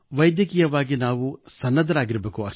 ವೈದ್ಯಕೀಯವಾಗಿ ನಾವು ಸನ್ನದ್ಧರಾಗಿರಬೇಕು